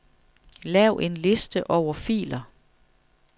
Lav en liste over filer.